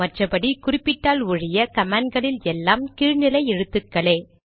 மற்றபடி குறிப்பிட்டால் ஒழிய கமாண்ட்களில் எல்லாம் கீழ் நிலை எழுத்துக்களே